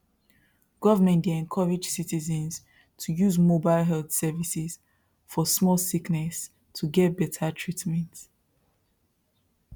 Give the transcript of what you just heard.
government dey encourage citizens to use mobile health services for small sickness to get better treatment